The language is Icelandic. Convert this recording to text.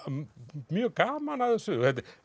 mjög gaman af þessu